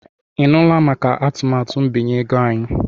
Ị nụla maka atụmatụ mbinye ego anyị?